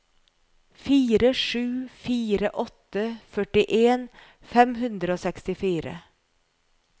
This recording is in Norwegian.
fire sju fire åtte førtien fem hundre og sekstifire